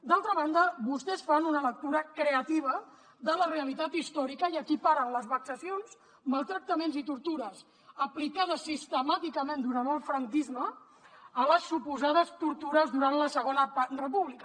d’altra banda vostès fan una lectura creativa de la realitat històrica i equiparen les vexacions maltractaments i tortures aplicades sistemàticament durant el franquisme a les suposades tortures durant la segona república